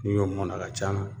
N'i y'o mun a na a ka can na